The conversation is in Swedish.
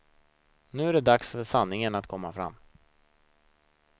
Nu är det dags för sanningen att komma fram.